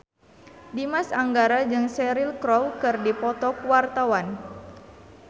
Dimas Anggara jeung Cheryl Crow keur dipoto ku wartawan